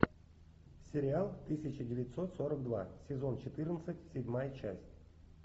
сериал тысяча девятьсот сорок два сезон четырнадцать седьмая часть